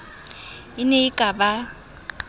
e ne e ka ba